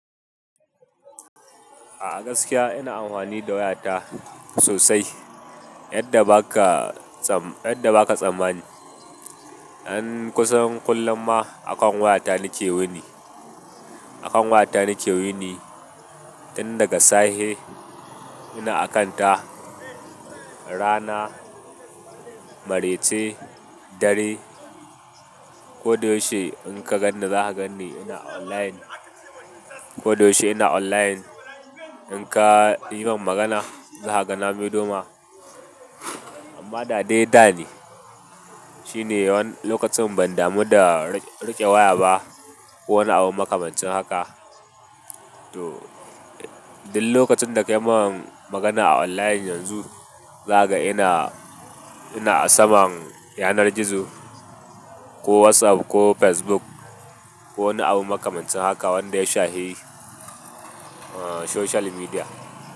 A gaskiya ina amfani da wayata sosai yadda ba ka, yadda ba ka tsammani. An kusan kullum ma akan wayata nake wuni, akan wayata nake wuni. Inda daga safe ina akanta, rana, marece, dare. Ko da yaushe in ka ganni za ka ganni ina online. Ko da yaushe ina online. In ka yi min magana za ka ga na mai do ma. Amma da dai da ne shine wani lokacin ban damu da riƙe waya ba ko wani abu makamancin haka. To, duk lokacin da ka yi min magana a online yanzu, za ka ga ina, ina a saman yanar gizo ko WhatsApp ko Facebook ko wani abu makamancin haka wanda ya shafi social media.